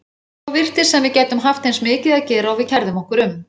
Svo virtist sem við gætum haft eins mikið að gera og við kærðum okkur um.